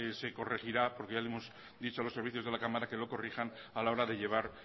se corregirá porque ya le hemos dicho a los servicios de la cámara que lo corrijan a la hora de llevar